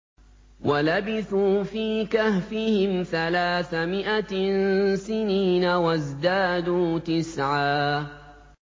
وَلَبِثُوا فِي كَهْفِهِمْ ثَلَاثَ مِائَةٍ سِنِينَ وَازْدَادُوا تِسْعًا